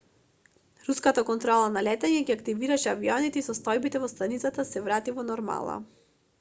руската контрола на летање ги активираше авионите и состојбата во станицата се врати во нормала